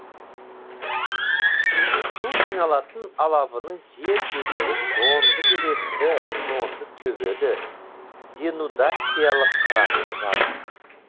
су жиналатын алабының жер бедері жонды белесті жонды төбелі денудациялық қыратты жазық